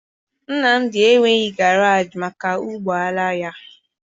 Nnamdi enweghị garaajị maka ụgbọala ya